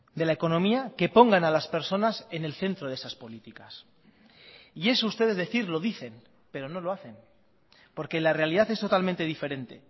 de la economía que pongan a las personas en el centro de esas políticas y eso ustedes decir lo dicen pero no lo hacen porque la realidad es totalmente diferente